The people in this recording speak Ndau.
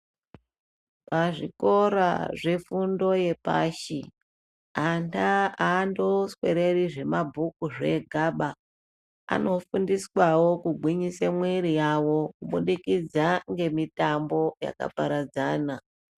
Pazvikora zvefundo yepashi ana aandoswereri zvemabhuku zvega ba. Ano fundiswawo kugwinyise mwiri yawo kubudikidza ngemitambo yakaparadzana.